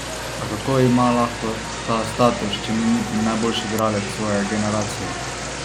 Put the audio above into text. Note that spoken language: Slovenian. A kako ima lahko ta status, če ni niti najboljši igralec svoje generacije?